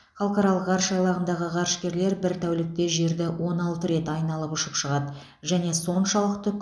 халықаралық ғарыш айлағындағы ғарышкерлер бір тәулікте жерді он алты рет айналып ұшып шығады және соншалықты